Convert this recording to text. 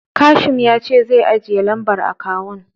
Kashim ya ce zai ajiye lambar akawun.